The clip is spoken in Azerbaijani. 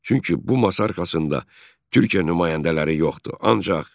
Çünki bu masa arxasında Türkiyə nümayəndələri yoxdur.